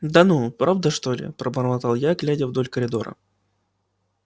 да ну правда что ли пробормотал я глядя вдоль коридора